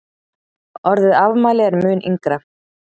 Orðið afmæli er mun yngra.